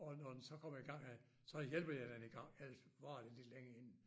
Og når den så kommer i gang øh så hjælper jeg den i gang ellers så varer det lidt længe inden